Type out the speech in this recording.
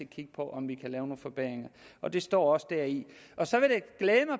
kigge på om vi kan lave nogle forbedringer og det står også deri så